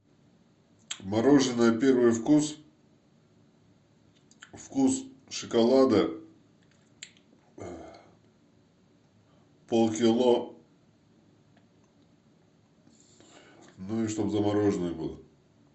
мороженое первый вкус вкус шоколада полкило ну и чтобы замороженное было